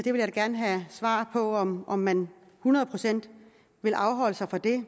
jeg vil da gerne have svar på om om man hundrede procent vil afholde sig fra det